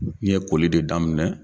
N ye koli de daminɛ.